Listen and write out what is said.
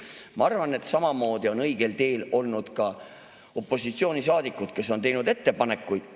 Ma arvan, et samamoodi on õigel teel olnud ka opositsioonisaadikud, kes on teinud ettepanekuid.